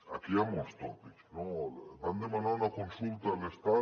aquí hi han molts tòpics no van demanar una consulta a l’estat